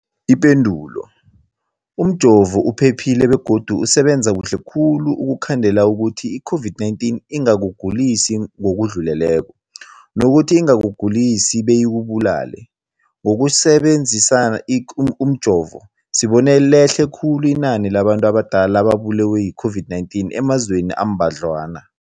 Ipendulo, umjovo uphephile begodu usebenza kuhle khulu ukukhandela ukuthi i-COVID-19 ingakugulisi ngokudluleleko, nokuthi ingakugulisi beyikubulale. Ngokusebe nzisa umjovo, sibone lehle khulu inani labantu abadala ababulewe yi-COVID-19 emazweni ambadlwana.